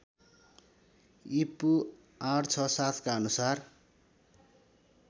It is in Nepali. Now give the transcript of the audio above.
ईपू ८६७ का अनुसार